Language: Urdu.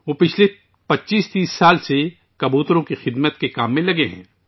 وہ پچھلے 2530 برسوں سے کبوتروں کی خدمت میں مصروف ہیں